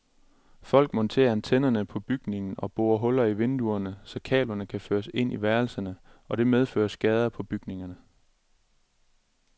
Folk monterer antennerne på bygningen og borer huller i vinduerne, så kablerne kan føres ind i værelserne, og det medfører skader på bygningerne.